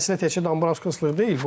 Məsələ təkcə Dambrakasızlıq deyil.